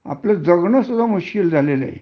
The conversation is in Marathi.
आपल जगन सुद्धा मुश्कील झालेले आहे